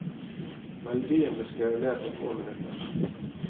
Melodien ble skrevet ned på få minutter.